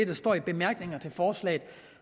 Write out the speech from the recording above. der står i bemærkningerne til forslaget